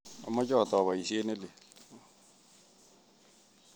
Amache atou poisyet ne lel.